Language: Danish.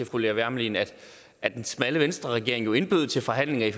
fru lea wermelin at at den smalle venstreregering jo indbød til forhandlinger i